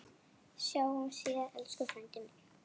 Sjáumst síðar, elsku frændi minn.